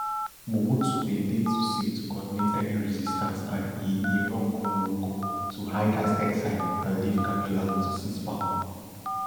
mobutu bin dey too sick to coordinate any resistance and e e run go morocco to hide as exile and leave kabila to seize power